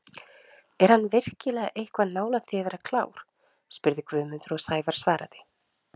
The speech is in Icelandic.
Er hann virkilega eitthvað nálægt því að vera klár? spurði Guðmundur og Sævar svaraði: